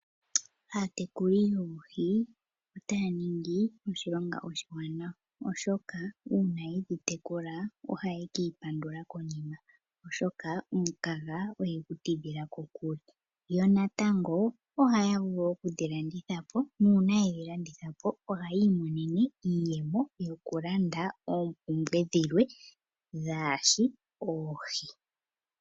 Aatekuli yoohi otaya ningi oshilonga oshiwanawa oshoka uuna yedhi tekula ohaye kiipandula konima oshoka omukaga oye gu tidhila kokule. Yo natango ohaya vulu okudhilanditha po nuuna yedhi landitha po ohaya imonene iiyemo yokulanda oompumbwe dhilwe kaadhishi oohi.